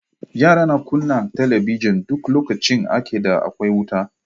Yara na kunna talabijin duk lokacin ake da akwai wuta.